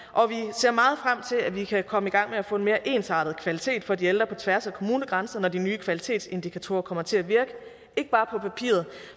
ser meget frem til at vi kan komme i gang med at få en mere ensartet kvalitet for de ældre på tværs af kommunegrænserne når de nye kvalitetsindikatorer kommer til at virke ikke bare på papiret